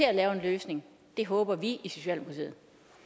og lave en løsning det håber vi i socialdemokratiet